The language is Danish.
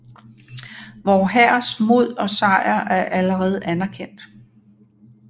Vor hærs mod og sejr er allerede anerkendt